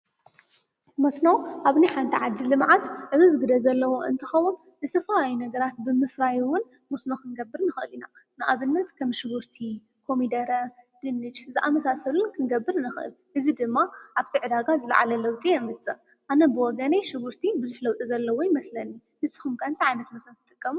መስኖ ኣብ ኒኃእንተ ዓዲሊ መዓት እዝ ዝግደ ዘለዎ እንትኸቡን እስቲፋ ኣይ ነግራት ብምፍራይውን መስኖ ኽንገብር ንኸል ኢና ንኣብልነት ከም ሽውርቲ ፣ኮሚደረ፣ ድንሽ፣ ዝኣመሳሰሉን ክንገብር ንኽል እዝ ድማ ኣብ ትዕዳጋ ዝለዓለለውጡ የምጽእ ኣነብወገነይ ሽዉርቲ ብዙኅለውጡ ዘለዎ ኣይመስለኒ ንስኹምከ እንታይ ዓይነትት መስነ ትጥቀም?